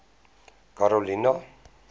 karolina